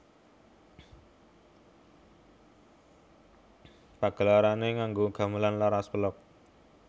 Pagelarané nganggo gamelan laras pelog